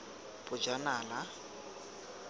bojanala